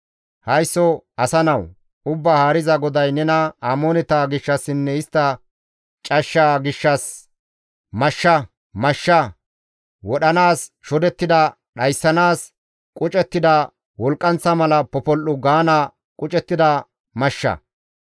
«Haysso asa nawu! Ubbaa Haariza GODAY nena Amooneta gishshassinne istta cashsha gishshas, ‹Mashsha! Mashsha! Wodhanaas shodettida dhayssanaas qucettida, wolqqanththa mala popol7u gaana qucettida mashsha.